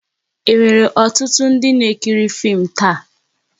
E nwèrè ọtụtụ ndị n'ekiri fim taa?